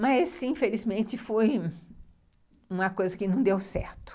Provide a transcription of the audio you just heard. Mas, infelizmente, foi uma coisa que não deu certo.